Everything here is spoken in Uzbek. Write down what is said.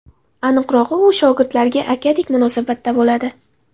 Aniqrog‘i, u shogirdlariga akadek munosabatda bo‘ladi.